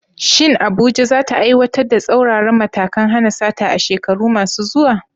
Shin Abuja za ta aiwatar da tsauraran matakan hana sata a shekaru masu zuwa?